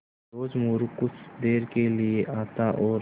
रोज़ मोरू कुछ देर के लिये आता और